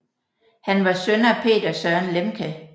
Han var søn af Peder Søren Lemche